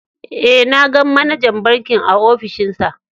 Eh, na gan manajar bankin a ofishin sa.